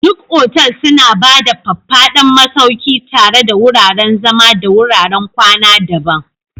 Duk otal suna ba da faffadan masauki tare da wuraren zama da wuraren kwana daban.